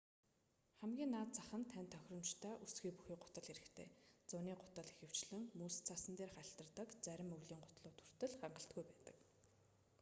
хамгийн наад зах нь танд тохиромжтой өсгий бүхий гутал хэрэгтэй зуны гутал ихэвчлэн мөс цасан дээр хальтардаг зарим өвлийн гутлууд хүртэл хангалтгүй байдаг